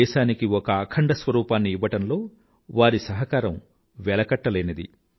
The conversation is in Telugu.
దేశానికి ఒక అఖండ స్వరూపాన్ని ఇవ్వడంలో వారి సహకారం వెలకట్టలేనిది